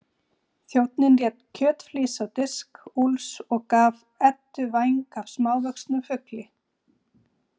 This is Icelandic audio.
Þjónninn lét kjötflís á disk Úlfs og gaf Eddu væng af smávöxnum fugli.